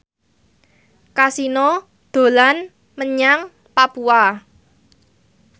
Kasino dolan menyang Papua